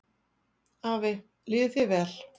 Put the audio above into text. Afi, líði þér vel.